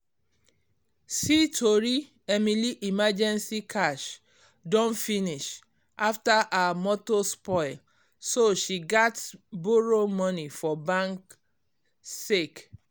see tori emily emergency cash don finish after her motor spoil so she gats borrow money for bank Sake